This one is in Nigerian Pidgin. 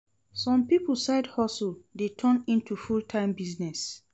Some pipo side hustle de turn into full time business